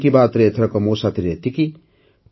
ମନ୍ କି ବାତ୍ରେ ଏଥରକ ମୋ ସାଥିରେ ଏତିକି